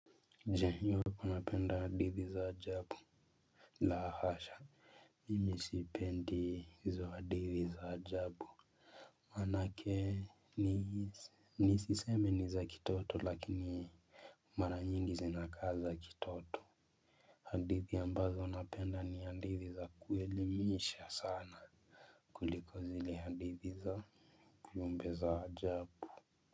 Je, unapenda hadithi za ajabu? La hasha. Mimi sipendi hizo hadithi za ajabu manake nisiseme ni za kitoto lakini mara nyingi zinakaa za kitoto. Hadithi ambazo napenda ni hadithi za kuelimisha sana kuliko zile hadithi za viumbe za ajabu.